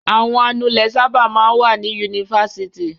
Àwọn anulẹ̀ sábà máa wà ní yunifásitì.